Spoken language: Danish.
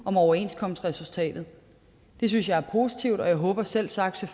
om overenskomstresultatet det synes jeg er positivt og jeg håber selvsagt